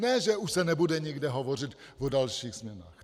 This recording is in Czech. Ne že už se nebude nikde hovořit o dalších změnách.